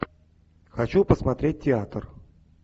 хочу посмотреть театр